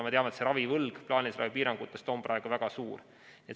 Me teame, et plaanilise ravi piirangutest tekkinud ravivõlg on praegu väga suur.